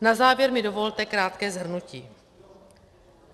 Na závěr mi dovolte krátké shrnutí.